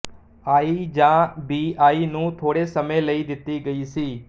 ਆਈ ਜਾਂ B I ਨੂੰ ਥੋੜ੍ਹੇ ਸਮੇਂ ਲਈ ਕੀਤੀ ਗਈ ਸੀ